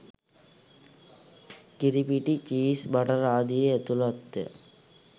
කිරිපිටි cheese butter ආදියේ ඇතුළත්ය